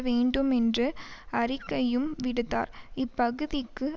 வேண்டும் என்று அறிக்கையும் விடுத்தார் இப்பகுதிக்கு